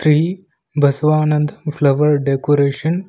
tree Basavananda flower decoration --